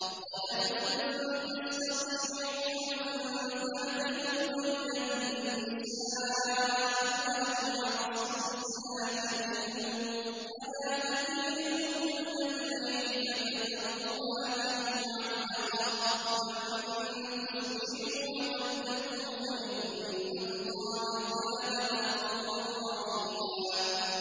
وَلَن تَسْتَطِيعُوا أَن تَعْدِلُوا بَيْنَ النِّسَاءِ وَلَوْ حَرَصْتُمْ ۖ فَلَا تَمِيلُوا كُلَّ الْمَيْلِ فَتَذَرُوهَا كَالْمُعَلَّقَةِ ۚ وَإِن تُصْلِحُوا وَتَتَّقُوا فَإِنَّ اللَّهَ كَانَ غَفُورًا رَّحِيمًا